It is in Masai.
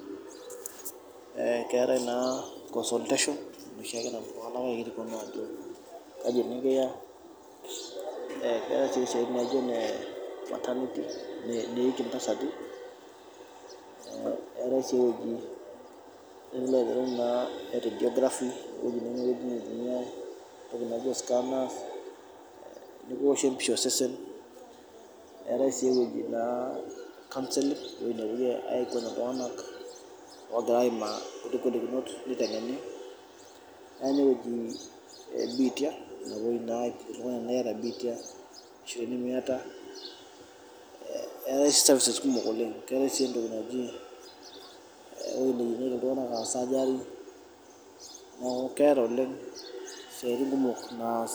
keetae si i consultation nesho napuonu itunanak ajo kaji nikiya keetae sii eweji neeki intasati, keetae sii eweji e gografy entoki nikiwoshi empisha osesen etaae sii eweji e counseling egira aimaa netae naa eweji ebitia napimi iltunganak sagari etae sii esiatin kumok naas.